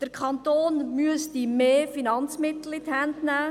Der Kanton müsste mehr Finanzmittel in die Hände nehmen.